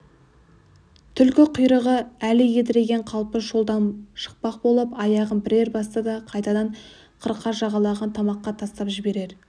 түлкі құйрығы әлі едірейген қалпы жолдан шықпақ болып аяғын бірер басты да қайтадан қырқа жағалап тамаққа тастап жіберер